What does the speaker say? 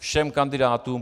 Všem kandidátům.